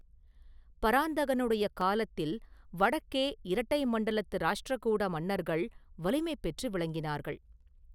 பராந்தகனுடைய காலத்தில் வடக்கே இரட்டை மண்டலத்து ராஷ்டிரகூட மன்னர்கள் வலிமை பெற்று விளங்கினார்கள்.